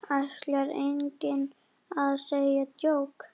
Ætlar enginn að segja djók?